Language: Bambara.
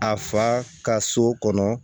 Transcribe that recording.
A fa ka so kɔnɔ